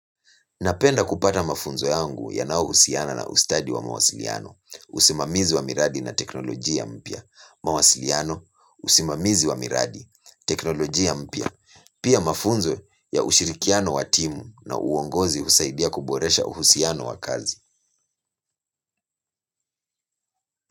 Napenda kupata mafunzo yangu yanaohusiana na ustadi wa mawasiliano, usimamizi wa miradi na teknolojia mpya. Mawasiliano, usimamizi wa miradi, teknolojia mpya. Pia mafunzo ya ushirikiano wa timu na uongozi husaidia kuboresha uhusiano wa kazi.